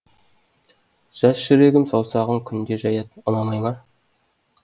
жас жүрегім саусағын күнде жаяд ұнамай ма